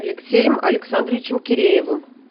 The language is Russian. алексеем александровичем киреевым